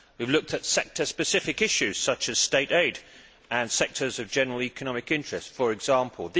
We have looked at sector specific issues, such as state aid, and sectors of general economic interest, for example.